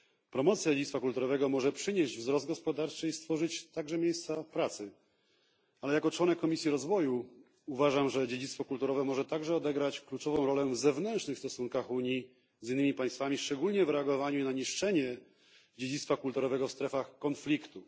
Promocja dziedzictwa kulturowego może przynieść wzrost gospodarczy i stworzyć miejsca pracy, ale jako członek Komisji Rozwoju uważam, że dziedzictwo kulturowe może także odegrać kluczową rolę w zewnętrznych stosunkach Unii z innymi państwami, szczególnie w reagowaniu na niszczenie dziedzictwa kulturowego w strefach konfliktu.